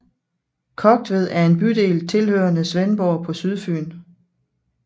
Kogtved er en bydel tilhørende Svendborg på Sydfyn